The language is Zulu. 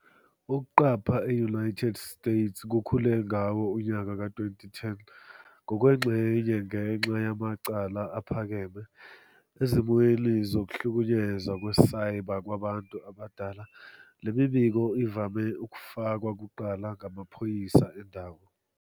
Ukuqapha e-United States kukhule ngawo unyaka ka-2010, ngokwengxenye ngenxa yamacala aphakeme. Ezimweni zokuhlukunyezwa kwe-cyber kwabantu abadala, le mibiko ivame ukufakwa kuqala ngamaphoyisa endawo.